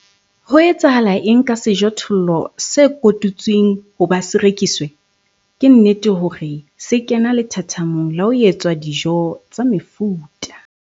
HO ETSAHALA ENG KA SEJOTHOLLO SE KOTUTSWENG HOBA SE REKISWE? KE NNETE HORE SE KENA LETHATHAMONG LA HO ETSWA DIJO TSA MEFUTA.